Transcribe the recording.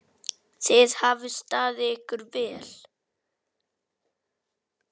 Þið hafið staðið ykkur vel.